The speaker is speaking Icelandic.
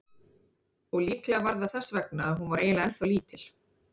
Og líklega var það þess vegna að hún var eiginlega ennþá lítil.